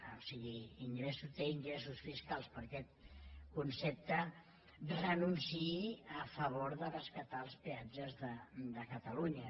o sigui té ingressos fiscals per aquest concepte hi renunciï a favor de rescatar els peatges de catalunya